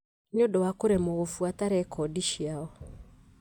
nĩ ũndũ wa kũremwo gũbuata rekondi ciao.